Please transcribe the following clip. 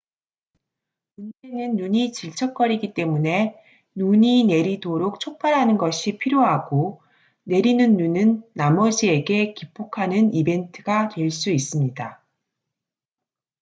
문제는 눈이 질척거리기 때문에 눈이 내리도록 촉발하는 것이 필요하고 내리는 눈은 나머지에게 기폭하는 이벤트가 될 수 있습니다